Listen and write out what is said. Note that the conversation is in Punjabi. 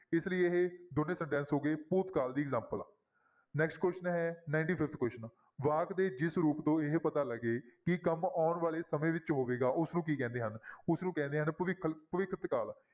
ਇਸ ਲਈ ਇਹ ਦੋਨੇਂ sentence ਹੋ ਗਏ ਭੂਤਕਾਲ ਦੀ example, next question ਹੈ ninety-fifth question ਵਾਕ ਦੇ ਜਿਸ ਰੂਪ ਤੋਂ ਇਹ ਪਤਾ ਲੱਗੇ ਕਿ ਕੰਮ ਆਉਣ ਵਾਲੇ ਸਮੇਂ ਵਿੱਚ ਹੋਵੇਗਾ, ਉਸਨੂੰ ਕੀ ਕਹਿੰਦੇ ਹਨ ਉਸਨੂੰ ਕਹਿੰਦੇ ਹਨ ਭਵਿੱਖ ਭਵਿੱਖਤ ਕਾਲ।